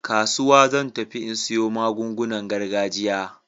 Kasuwa zan tafi in siyo magungunan gargajiya.